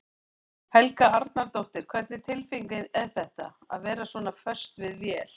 Helga Arnardóttir: Hvernig tilfinning er þetta, að vera svona föst við vél?